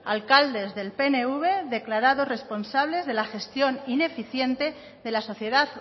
alcaldes del pnv declarados responsables de la gestión ineficiente de la sociedad